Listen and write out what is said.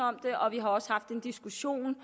om det og vi har også haft en diskussion